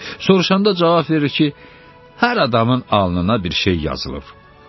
Sorşanda cavab verir ki, hər adamın alnına bir şey yazılıb.